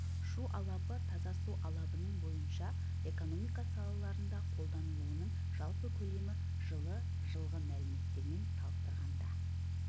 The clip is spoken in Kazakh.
шу алабы таза су алабының бойынша экономика салаларында қолданылуының жалпы көлемі жылы жылғы мәліметтермен салыстырғанда